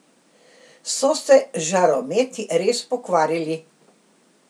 So se žarometi res pokvarili?